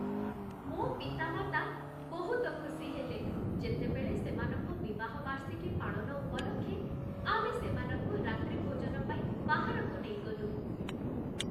ମୋ ପିତାମାତା ବହୁତ ଖୁସି ହେଲେ, ଯେତେବେଳେ ସେମାନଙ୍କ ବିବାହ ବାର୍ଷିକୀ ପାଳନ ଉପଲକ୍ଷେ ଆମେ ସେମାନଙ୍କୁ ରାତ୍ରିଭୋଜନ ପାଇଁ ବାହାରକୁ ନେଇଗଲୁ।